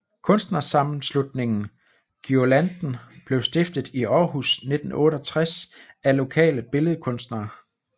Kunstnersammenslutningen GUIRLANDEN blev stiftet i Aarhus 1968 af lokale billedkunstnere